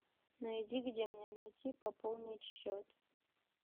найди где мне найти пополнить счет